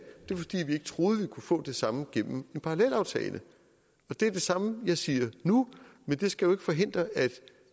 vi ikke troede vi kunne få det samme gennem en parallelaftale det er det samme jeg siger nu men det skal jo ikke forhindre at